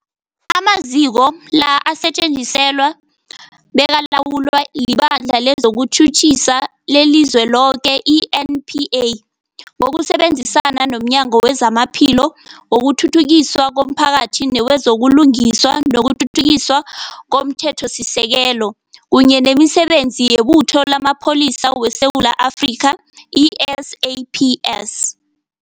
Amaziko la asetjenziswa bekalawulwa liBandla lezokuTjhutjhisa leliZweloke, i-NPA, ngokusebenzisana nomnyango wezamaPhilo, wokuthuthukiswa komphakathi newezo buLungiswa nokuThuthukiswa komThethosisekelo, kunye nemiSebenzi yeButho lamaPholisa weSewula Afrika, i-SAPS.